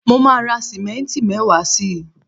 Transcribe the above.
mo ma ra simenti mewaa si